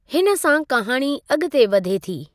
हिन सां कहाणी अॻिते वधे थी।